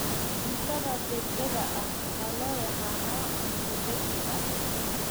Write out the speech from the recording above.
Cuntada degdega ah waxaa loo yaqaan cunto degdeg ah.